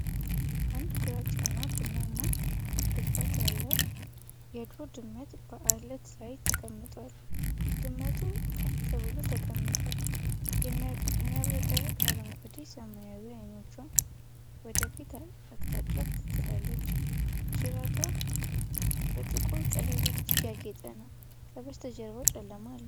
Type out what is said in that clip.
አንድ ግራጫ እና ቡናማ ግርፋት ያለው የዱር ድመት በዓለት ላይ ተቀምጧል። ድመቷ ቀጥ ብላ ተቀምጣ፣ የሚያብረቀርቅ አረንጓዴ-ሰማያዊ ዓይኖቿን ወደ ፊት አቅጣጫ ትጥላለች። ጅራቷ በጥቁር ቀለበቶች ያጌጠ ነው። ከበስተጀርባው ጨለማ ነው።